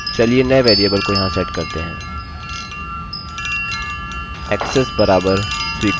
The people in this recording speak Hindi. ऐक्सेस बराबर स्वीकृतaccess equals allowed